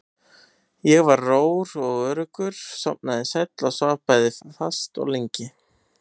Ég var rór og öruggur, sofnaði sæll og svaf bæði fast og lengi.